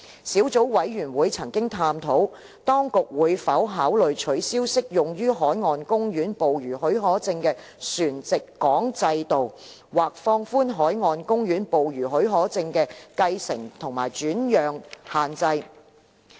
小組委員會曾探討，當局會否考慮取消適用於海岸公園捕魚許可證的船籍港制度，或放寬海岸公園捕魚許可證的繼承及轉讓限制。